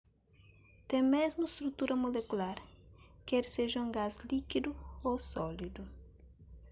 ten mésmu strutura molekular ker seja un gás líkidu ô sólidu